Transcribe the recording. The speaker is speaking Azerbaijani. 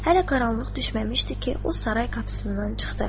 Hələ qaranlıq düşməmişdi ki, o saray qapısından çıxdı.